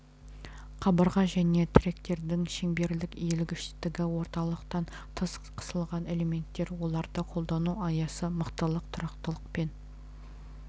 қабырға және тіректердің шеңберлік иілгіштігі орталықтан тыс қысылған элементтер оларды қолдану аясы мықтылық тұрақтылық пен